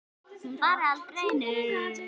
Hún fari aldrei neitt.